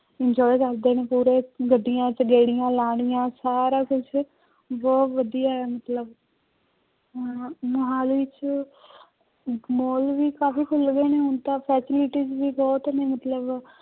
Enjoy ਕਰਦੇ ਨੇ ਪੂਰੇ ਗੱਡੀਆਂ ਚ ਗੇੜੀਆਂ ਲਾਉਣੀਆਂ, ਸਾਰਾ ਕੁਛ ਬਹੁਤ ਵਧੀਆ ਹੈ ਮਤਲਬ ਮੁਹਾਲੀ ਚ ਮਾਲ ਵੀ ਕਾਫ਼ੀ ਖੁੱਲ ਗਏ ਨੇ ਹੁਣ ਤਾਂ facilities ਵੀ ਬਹੁਤ ਨੇ ਮਤਲਬ।